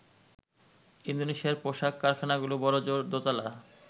ইন্দোনেশিয়ার পোশাক কারখানাগুলো বড়জোর দোতলা।